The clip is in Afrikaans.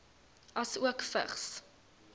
asook vigs